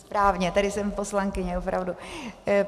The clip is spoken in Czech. Správně, tady jsem poslankyně, opravdu.